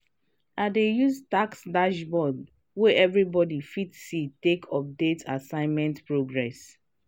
i dey use task dashboard wey everybody fit see take update assignment progress.